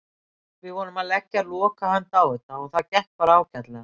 Við vorum að leggja lokahönd á þetta og það gekk bara ágætlega.